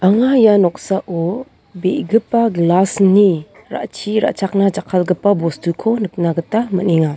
anga ia noksao be·gipa glas ni-ra-chi ra·chakna jakkalgipa bostuko nikna gita man·enga.